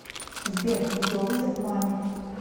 сбер видеовызов маме